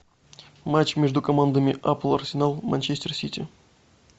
матч между командами апл арсенал манчестер сити